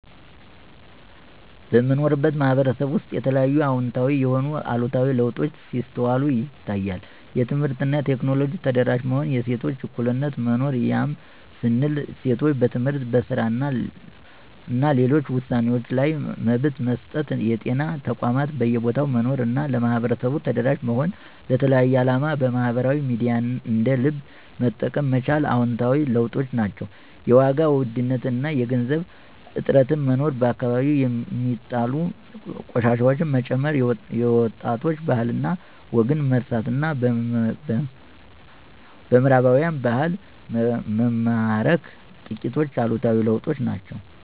በምኖርበት ማህበረሰብ ውስጥ የተለያዩ አወንታዊም ሆነ አሉታዊ ለውጦች ሲስተዋሉ ይታያል። የትምህርት እና ቴክኖሎጂ ተደራሽ መሆን፣ የሴቶች እኩልነት መኖር ያም ስንል ሴቶች በትምህርት፣ በስራ እና ሌሎች ውሳኔወችዋ ላይ መብት መሰጠት፣ የጤና ተቋማት በየቦታው መኖር እና ለማህበረሰቡ ተደራሽ መሆን፣ ለተለያየ አላማ ማህበራዊ ሚዲያን እንደ ልብ መጠቀም መቻል አወንታዊ ለውጦች ናቸው። የዋጋ ውድነት እና የገንዘብ እጥረት መኖር፣ በየአከባቢው ሚጣሉ ቆሻሻወች መጨመር፣ የወጣቶች ባህል እና ወግን መርሳት እና በምህራባውያን ባህል መማረክ ጥቂቶቹ አሉታዊ ለውጦች ናቸው።